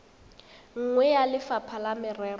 nngwe ya lefapha la merero